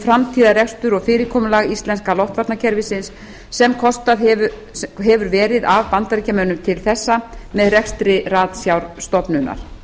framtíðarrekstur og fyrirkomulag íslenska loftvarnakerfisins sem kostað hefur verið af bandaríkjunum til þessa með rekstri ratsjárstofnunar